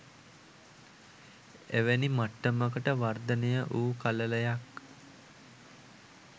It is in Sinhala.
එවැනි මට්ටමට වර්ධනය වූ කළලයක්